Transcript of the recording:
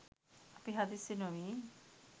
අපි හදිස්සි නොවී